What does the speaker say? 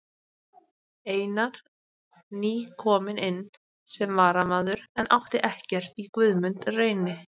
Einar nýkominn inn sem varamaður en átti ekkert í Guðmund Reyni.